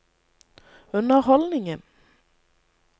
underholdningen